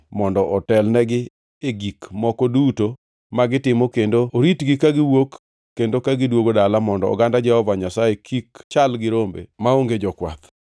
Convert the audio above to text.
mondo otelnegi e gik moko duto ma gitimo kendo oritgi kagiwuok kendo ka gidwogo dala mondo oganda Jehova Nyasaye kik chal gi rombe maonge jokwath.”